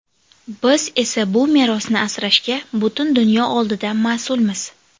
Biz esa bu merosni asrashga butun dunyo oldida mas’ulmiz.